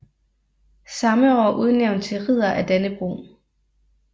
Samme år udnævnt til ridder af Dannebrog